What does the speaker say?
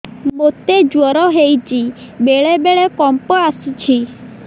ମୋତେ ଜ୍ୱର ହେଇଚି ବେଳେ ବେଳେ କମ୍ପ ଆସୁଛି